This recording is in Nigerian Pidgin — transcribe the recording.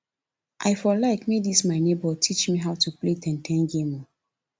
i for like make dis my nebor teach me how to play ten ten game o